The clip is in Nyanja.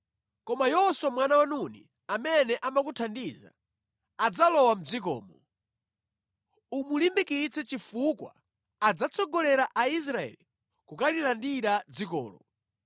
Koma Yoswa mwana wa Nuni amene amakuthandiza, adzalowa mʼdzikomo. Umulimbikitse chifukwa adzatsogolera Israeli kukalandira dzikolo.